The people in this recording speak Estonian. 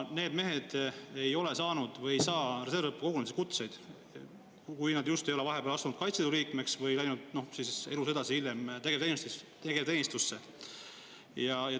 Need mehed ei ole saanud või ei saa reservõppekogunemiste kutseid, kui nad just ei ole vahepeal astunud Kaitseliidu liikmeks või läinud edasi tegevteenistusse.